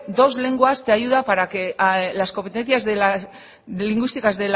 dos lenguas te ayuda para que las competencias lingüísticas